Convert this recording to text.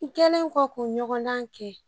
N kɛlen kɔ k'u ɲɔgɔndan kɛ